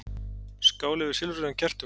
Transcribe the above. Skál yfir silfruðum kertum.